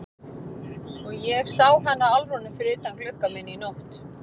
Og ég sá hana Álfrúnu fyrir utan gluggann minn í nótt.